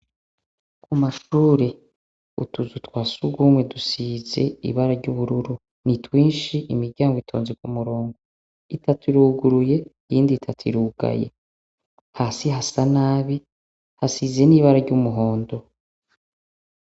Ku mashure utuzu twa sugumwe dusize ibara ry'ubururu ni twinshi imiryango itonze ku murongo, itatu iruguruye iyindi itatu irugaye, hasi hasa nabi hasize n'ibara ry'umuhondo.